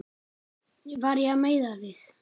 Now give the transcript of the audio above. Var ég að meiða þig?